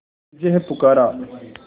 तुझे है पुकारा